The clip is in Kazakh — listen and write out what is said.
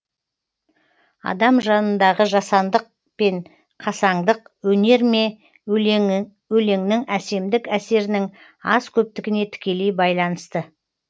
адам жанындағы жасаңдық пен қасаңдық өнер ме өлеңнің әсемдік әсерінің аз көптігіне тікелей байланысты